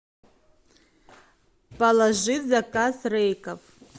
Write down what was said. положи в заказ рейков